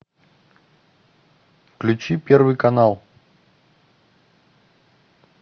включи первый канал